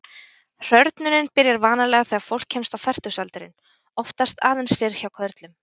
Hrörnunin byrjar vanalega þegar fólk kemst á fertugsaldurinn, oftast aðeins fyrr hjá körlum.